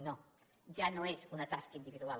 no ja no és una tasca individual